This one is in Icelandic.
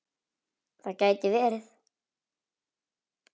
Það gæti verið.